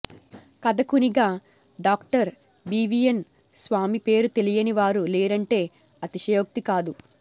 కథకునిగా doctor BVN Swami పేరు తెలియని వారు లేరంటే అతిశయోక్తి కాదు